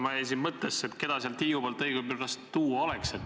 Ma jäin siin mõttesse, et keda sealt Hiiumaalt õigepoolest tuua oleks.